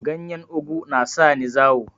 Ganyen ogu na sani zawo